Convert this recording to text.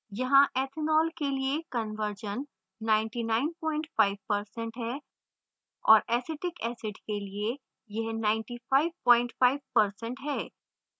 यहाँ ethanol के लिए कन्वर्जन 995% है और acetic acid के लिए यह 955% है